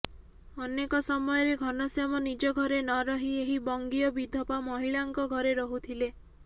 ଅନେକ ସମୟରେ ଘନଶ୍ୟାମ ନିଜ ଘରେ ନରହି ଏହି ବଙ୍ଗିୟ ବିଧବା ମହିଳାଙ୍କ ଘରେ ରହୁଥିଲେ